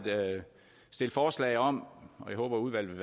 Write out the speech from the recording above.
stille forslag om og jeg håber at udvalget